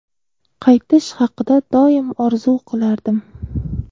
Qaytish haqida doim orzu qilardim.